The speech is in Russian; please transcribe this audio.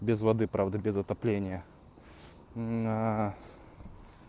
без воды правда без отопления